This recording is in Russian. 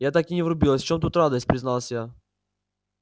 я так и не врубилась в чём тут радость призналась я